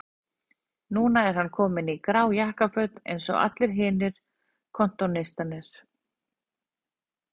Þetta var sannkölluð flugeldasýning, stærsti sigur íslensks kappliðs erlendis fyrr og síðar